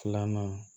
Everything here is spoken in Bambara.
Filanan